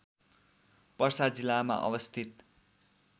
पर्सा जिल्लामा अवस्थित